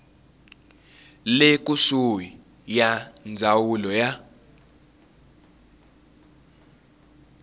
le kusuhi ya ndzawulo ya